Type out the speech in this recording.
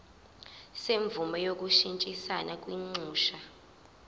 semvume yokushintshisana kwinxusa